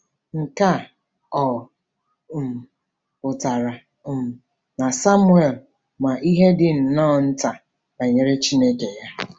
Nke a ọ̀ um pụtara um na Samuel ma ihe dị nnọọ nta banyere Chineke ya?